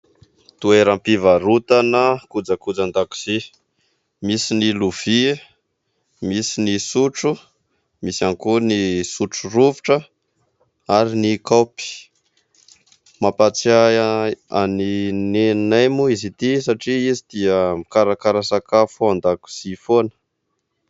Toeram-pivarotana kojakojan-dakozia : misy ny lovia, misy ny sotro, misy ihany koa ny sotro rovitra ary ny kaopy, mampatsiahy ahy an'i neninay moa izy ity satria izy dia mikarakara sakafo ao an-dakozia foana.